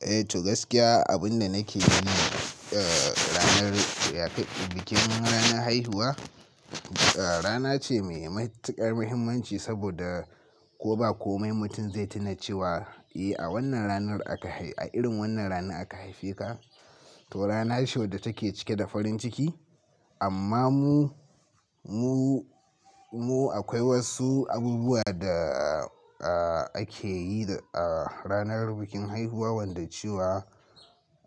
Eh to gaskiya abin da nake yi ne ranar bikin ranar haihuwa, rana ce mai matuƙar muhimmanci saboda ko ba komai mutum zai tuna cewa eh a wannan ranar aka haifi, a irin wannan ranar aka haife ka. To rana ce wadda take cike da farin ciki. Amma mu, mu, mu akwai wasu abubuwa da ake yi a ranar bikin haihuwa wanda cewa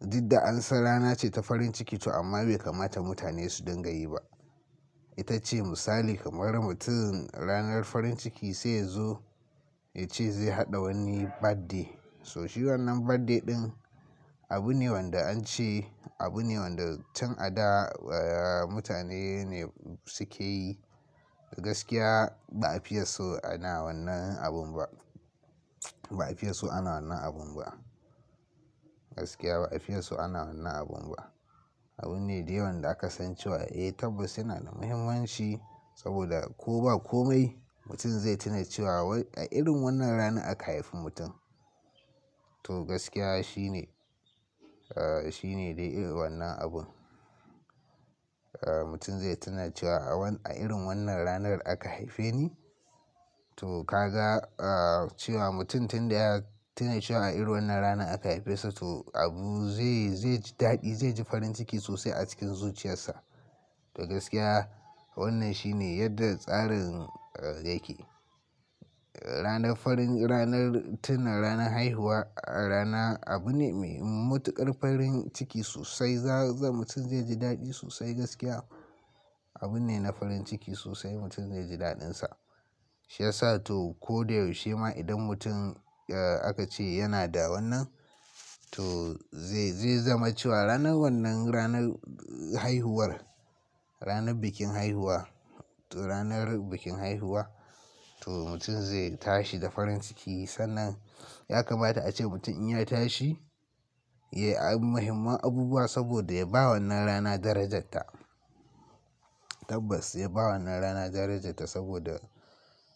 duk da an san rana ce ta farin ciki to amma bai kamata mutane su dinga yi ba. Itace misali kamar mutum ranar farin ciki sai yazo ya ce zai haɗa wani birthday. So shi wannan birthday ɗin abu ne wanda an ce abu ne wanda tun a da mutane ne suke yi. Gaskiya ba a fiye so ana wannan abun ba. Ba a fiye so ana wannan abun ba. Gaskiya ba a fiye so ana wannan abun ba. Abune dai wanda aka san cewa eh tabbas yana da muhimmanci saboda ko ba komai mutum zai tuna cewa wai a irin wannan ranar aka haifi mutum. To gaskiya shine, shine dai irin wannan abun. Mutum zai tuna cewa a irin wannan, a irin wannan ranar aka haife ni. To ka ga cewa mutum tun da ya tuna cewa a irin wannan ranar aka haife sa to abu zai, zai ji daɗi, zai ji farin ciki sosai a cikin zuciyarsa. To gaskiya wannan shine yadda tsarin yake. Ranar farin, ranar tuna ranar haihuwa, rana abu ne mai matuƙar farin ciki sosai. Za, mutum zai ji daɗi sosai gaskiya. Abu ne na farin ciki sosai mutum zai ji daɗinsa. Shi yasa to ko da yaushe ma idan mutum aka ce yana da wannan to zai zama cewa ranar wannan ranar haihuwar, ranar bikin haihuwa, to ranar bikin haihuwa to mutum zai tashi da farin ciki. Sannan ya kamata ace mutum in ya tashi ya yi muhimman abubuwa saboda ya ba wannan rana darajarta. Tabbas ya ba wannan rana darajarta saboda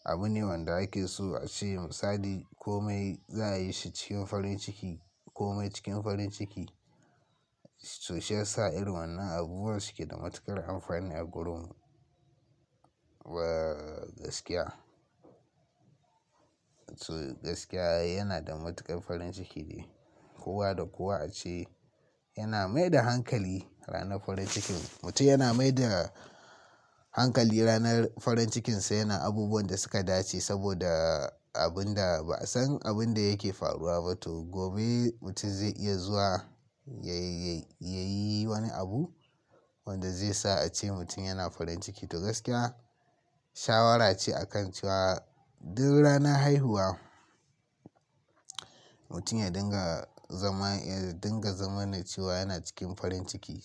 abu ne wanda ake so a ce misali komai za a yi shi cikin farin ciki komai cikin farin ciki. To shi yasa irin wannan abubuwa suke da matuƙar amfani a garinmu. Wa gaskiya. To gaskiya yana da matuƙar farin ciki ne. Kowa da kowa a ce yana mai da hankali ranar farin cikin. Mutum yana mai da hankali ranar farin cikinsa. Yana abubuwan da suka dace saboda abun da ba a san abun da yake faruwa ba. To gobe mutum zai iya zuwa ya, ya, ya yi wani abu wanda zai sa ace mutum yana farin ciki. To gaskiya shawara ce a kan cewa duk rana haihuwa mutum ya dinga zama, ya dinga zama na cewa yana cikin farin ciki,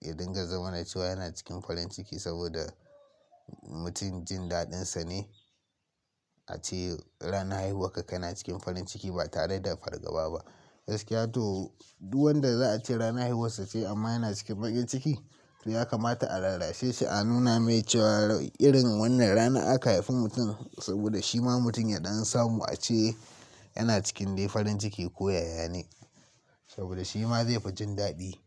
ya dinga zama ne cewa yana cikin farin ciki saboda mutum jin daɗinsa ne a ce ranar haihuwar ka kana cikin farin ciki ba tare da fargaba ba. Gaskiya to duk wanda za a ce ranar haihuwar sa ce amma yana cikin baƙin ciki. To ya kamata a rarrashe shi a nuna mai cewa irin wannan ranar aka haifi mutum saboda shi ma mutum ya ɗan samu a ce yana cikin dai farin ciki koyaya ne. Saboda shi ma zai fi jin daɗi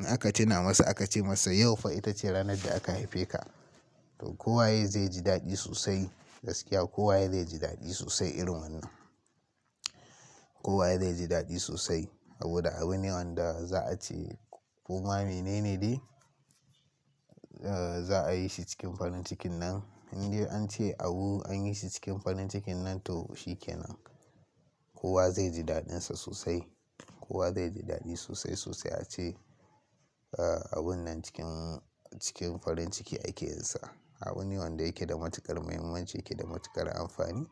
in aka tuna masa aka ce masa yau fa itace ranar da aka haife ka. To kowa ye zai ji daɗi sosai. Gaskiya kowa yake zai ji daɗi sosai irin wannan. Kowa ye zai ji daɗi sosai saboda abu ne wanda za a ce koma mene ne dai za a yi shi cikin farin cikin nan. Indai an ce abu anyi shi cikin farin cikin nan to shi kenan. Kowa zai ji daɗinsa sosai. Kowa zai ji daɗi sosai sosai a ce abun nan cikin cikin farin ciki ake yin sa. Abu ne wanda yake da matuƙar muhimmanci, yake da matuƙar amfani.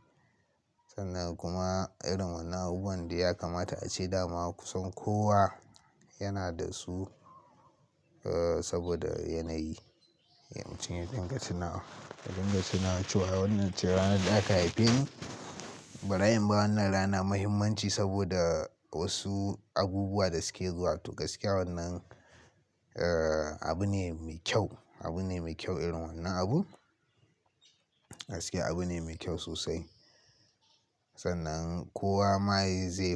Sannan kuma irin wannan abubu wandai ya kamata a ce dama kusan kowa yana da su saboda yanayi. Mutum ya dinga tunawa, ya dinga tuna cewa wannan ce ranar da aka haife ni. Bari in ba wannan rana muhimmanci saboda wasu abubuwa da suke zuwa. To gaskiya wannan abu ne mai kyau, abu ne mai kyau irin wannan abun. Gaskiya abu ne mai kyau sosai. Sannan kowa ma zai.